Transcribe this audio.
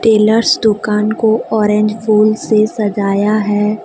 Tailors दुकान को orange फूल से सजाया है।